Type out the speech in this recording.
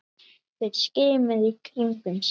Þeir skimuðu í kringum sig.